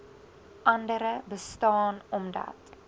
andere bestaan omdat